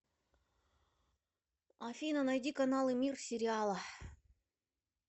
афина найди каналы мир сериала